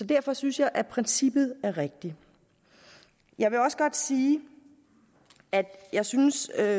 derfor synes jeg at princippet er rigtigt jeg vil også godt sige at jeg synes at